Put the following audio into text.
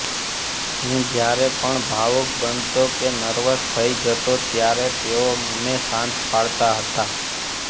હું જ્યારે પણ ભાવુક બનતો કે નર્વસ થઈ જતો ત્યારે તેઓ મને શાંત પાડતા હતા